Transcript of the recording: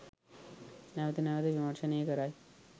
නැවත නැවත විමර්ශනය කරයි.